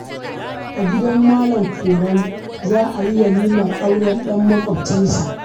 A gidan Malam korau za a yi walimar auren ɗan maƙwabcinsa